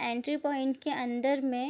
entry point के अंदर मे